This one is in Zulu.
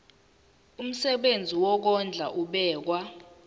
umsebenzi wokondla ubekwa